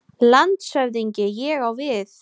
LANDSHÖFÐINGI: Ég á við.